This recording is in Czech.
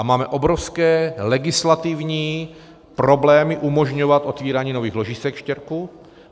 A máme obrovské legislativní problémy umožňovat otevírání nových ložisek štěrku.